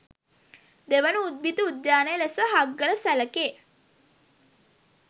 දෙවන උද්භිත උද්‍යානය ලෙස හග්ගල සැළකේ